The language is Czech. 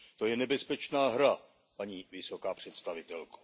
To je nebezpečná hra, paní vysoká představitelko.